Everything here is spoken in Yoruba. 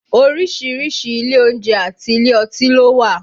Orísìírísìí ilé oúnjẹ àti ilé ọtí ló wà